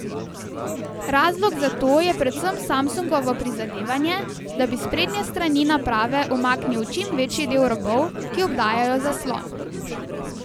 Razlog za to je predvsem Samsungovo prizadevanje, da bi s sprednje strani naprave umaknil čim večji del robov, ki obdajajo zaslon.